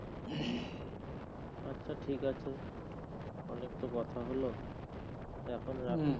আচ্ছা ঠিক আছে অনেক তো কথা হলো এখন রাখি